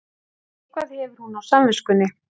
Eitthvað hefur hún á samviskunni.